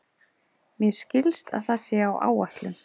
Mér skilst að það sé á áætlun.